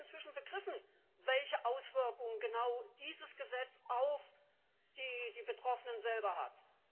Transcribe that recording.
Vielleicht hat er inzwischen begriffen, welche Auswirkungen genau dieses Gesetz auf die Betroffenen selber hat.